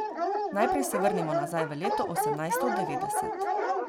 Najprej se vrnimo nazaj v leto osemnajsto devetdeset.